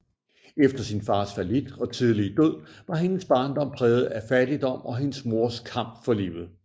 Efter sin fars fallit og tidlige død var hendes barndom præget af fattigdom og hendes mors kamp for livet